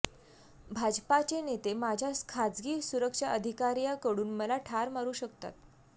भाजपाचे नेते माझ्या खासगी सुरक्षा अधिकार्याकडून मला ठार मारू शकतात